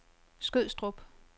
Skødstrup